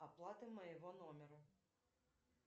оплата моего номера